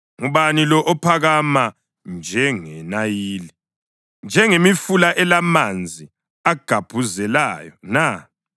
Ngubani lo ophakama njengeNayili, njengemifula elamanzi agubhazelayo na?